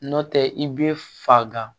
Nɔntɛ i bɛ faga